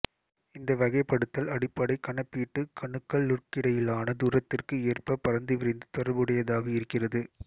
இந்த வகைப்படுத்தல் அடிப்படை கணிப்பீட்டு கணுக்களுக்கிடையிலான தூரத்திற்கு ஏற்ப பரந்துவிரிந்து தொடர்புடையதாக இருக்கிறது